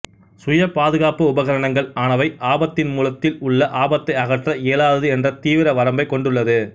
சுய பாதுபாப்பு உபகரணங்கள் ஆனவை ஆபத்தின் மூலத்தில் உள்ள ஆபத்தை அகற்ற இயலாதது என்ற தீவிர வரம்பைக் கொண்டுள்ளது